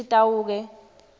sitawuke